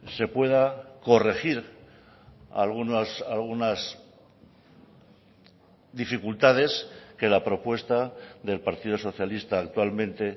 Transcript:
se pueda corregir algunas dificultades que la propuesta del partido socialista actualmente